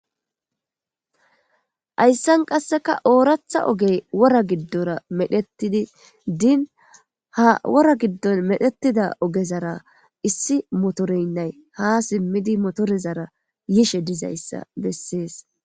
Ayssan qasseka ooratha ogey wora giddora medhettidi diin ha wora giddon medhetida ogezara issi motoreynnay ha simmidi motorezara yishe dizayssa bessees